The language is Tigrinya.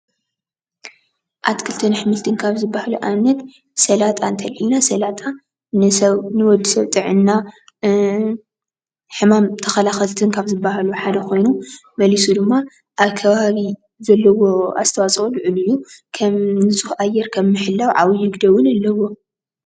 ኣትክልትን ኣሕምልትን ካብ ዝበሃሉ ኣብነት ፦ ስላጣ እንተሊዕልና ስላጣ ንወዲሰብ ጥዕና ሕማም ተኸላኸልቲ ካብ ዝበሃሉ ሓደ ኸይኑ መሊሱ ድማ ኣብ ከባቢ ዘለዎ ኣስተዋፅኦ ሉዑል እዩ። ከም ንፁህ ኣየር ካብ ምህላው ዓብዩ ግደ እውን ኣለዎ።